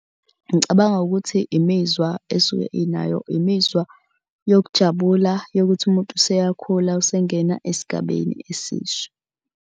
Ngicabanga ukuthi imizwa esuke inayo, imizwa yokujabula yokuthi umuntu useyakhula usengena esigabeni esisha.